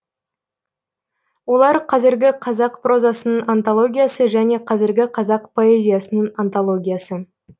олар қазіргі қазақ прозасының антологиясы және қазіргі қазақ поэзиясының антологиясы